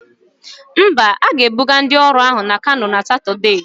Mba, a ga-ebuga ndị ọrụ ahụ na Kano na Satọde.